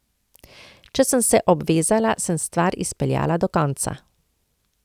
Če sem se obvezala, sem stvar izpeljala do konca.